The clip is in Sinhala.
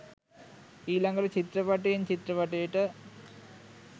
ඊළගට චිත්‍රපටයෙන් චිත්‍රපටයට